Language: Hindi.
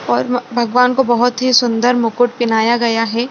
और म भगवान को बहुत ही सुन्दर मुकुट पिन्हाया गया हैं।